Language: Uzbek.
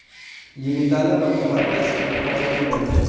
Yigitali va Muqaddas ikki farzandli bo‘ldi .